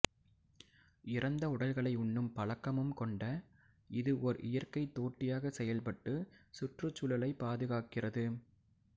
இறந்த உடல்களை உண்ணும் பழக்கமும் கொண்ட இது ஓர் இயற்கைத் தோட்டியாக செயல்பட்டு சுற்றுச்சூழலைப் பாதுகாக்கிறது